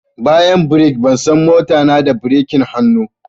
Bayan birki, ban san mota na da birkin hannu